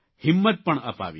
હિંમત પણ અપાવી